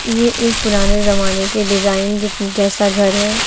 ये एक पुराने जमाने के डिजाइन ज जैसा घर है।